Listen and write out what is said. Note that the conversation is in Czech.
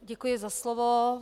Děkuji za slovo.